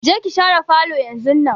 Je ki shara falo yanzunnan!